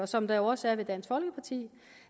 som der jo også